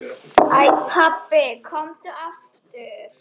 Æ pabbi, komdu aftur.